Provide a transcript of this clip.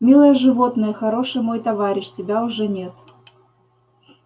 милое животное хороший мой товарищ тебя уже нет